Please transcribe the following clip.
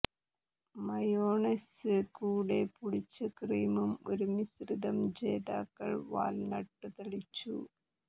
mayonnaise കൂടെ പുളിച്ച cream ഒരു മിശ്രിതം ജേതാക്കൾ വാൽനട്ട് തളിച്ചു